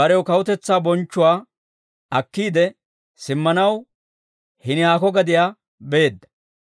barew kawutetsaa bonchchuwaa akkiide simmanaw, hini haako gadiyaa beedda.